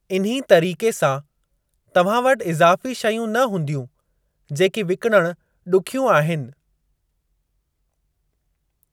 इन्ही तरीक़े सां, तव्हां वटि इज़ाफ़ी शयूं न हूंदियूं जेकी विकिणणु ॾुखियूं आहिनि।